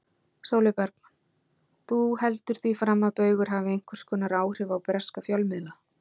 Sólveig Bergmann: Þú heldur því fram að Baugur hafi einhvers konar áhrif á breska fjölmiðla?